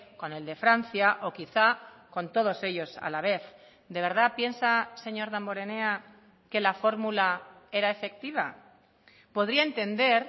con el de francia o quizá con todos ellos a la vez de verdad piensa señor damborenea que la fórmula era efectiva podría entender